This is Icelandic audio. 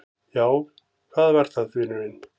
Já, hvað var það, vinurinn?